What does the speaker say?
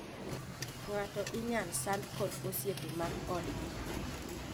Ng'ato inyal sandi kod osiepe mag odgi.